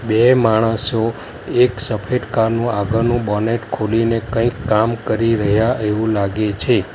બે માણસો એક સફેદ કાર નું આગળનું બોનેટ ખોલીને કંઈક કામ કરી રહ્યા એવું લાગે છે.